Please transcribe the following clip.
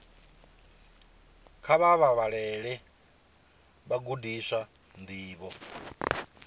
kha vha vhalele vhagudiswa ndivho